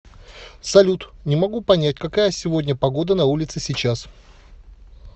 салют не могу понять какая сегодня погода на улице сейчас